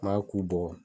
N b'a k'u bɔ